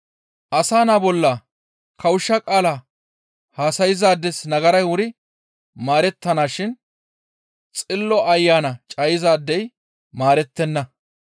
«Asa Naa bolla kawushsha qaala haasayzaades nagaray wuri maarettanashin Xillo Ayana cayizaadey maarettenna.